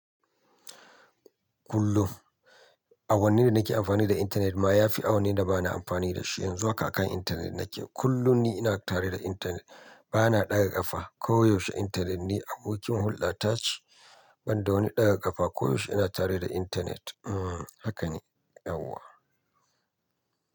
Kullum, awannin da nake amfani da intanet ma ya fi awannin da ba na amfani da shi. Yanzu haka a kan intanet nake. Kullum ni ina tare da intanet, ba na ɗaga ƙafa. Koyaushe intanet ni abokin hulɗa ta ce, ban da wani ɗaga ƙafa. Koyaushe ina tare da intanet. Haka ne yauwa.